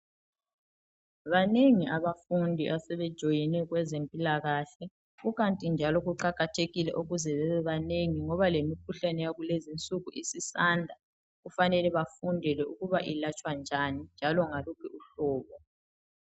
Banengi abafundi asebe join kwezempilakahle ikanti njalo kuqakathekile ukuthi babe banengi ngoba lemikhuhlane yakulezi insuku isisanda kufanele bafundele ukuthi iyelatshwa njani njalo ngaluphi uhlobo